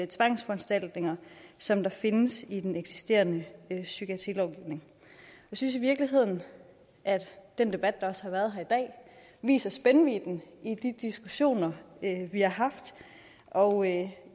tvangsforanstaltninger som findes i den eksisterende psykiatrilovgivning jeg synes i virkeligheden at den debat der også har været her i dag viser spændvidden i de diskussioner vi har haft og jeg